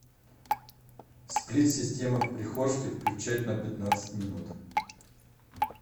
сплит система в прихожке включать на пятнадцать минут